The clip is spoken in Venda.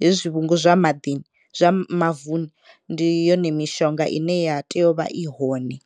hezwi zwivhungu zwa maḓini, zwivhungu zwa mavuni ndi yone mishonga ine ya tea uvha i hone.